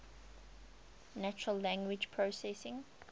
natural language processing